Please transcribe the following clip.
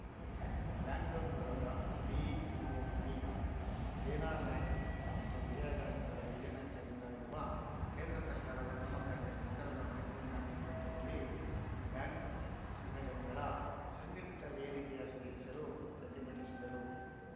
bank of Baroda BOB Dena bank ಮತ್ತು ವಿಜಯ ಬ್ಯಾಂಕ್‌ಗಳ ವಿಲೀನಕ್ಕೆ ಮುಂದಾಗಿರುವ ಕೇಂದ್ರ ಸರ್ಕಾರದ ಕ್ರಮ ಖಂಡಿಸಿ ನಗರದ ಮೈಸೂರು ಬ್ಯಾಂಕ್‌ ವೃತ್ತದಲ್ಲಿ ಬ್ಯಾಂಕ್‌ ಸಂಘಟನೆಗಳ ಸಂಯುಕ್ತ ವೇದಿಕೆಯ ಸದಸ್ಯರು ಪ್ರತಿಭಟಿಸಿದರು